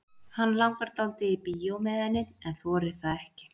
Hann langar dálítið í bíó með henni en þorir það ekki.